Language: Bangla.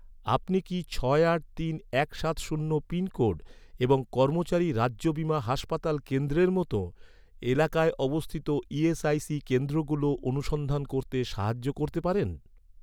আপনি কি ছয় আট তিন এক সাত শূন্য পিনকোড এবং কর্মচারী রাজ্য বীমা হাসপাতাল কেন্দ্রের মতো, এলাকায় অবস্থিত ই.এস.আই.সি কেন্দ্রগুলো অনুসন্ধান করতে সাহায্য করতে পারেন?